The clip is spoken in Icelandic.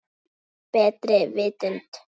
Gegn betri vitund.